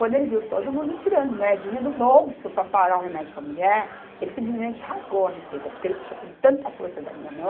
Quando ele viu todo mundo tirando moedinha do bolso para parar o remédio para a mulher, ele simplesmente rasgou a receita, porque ele puxou com tanta força da minha mão,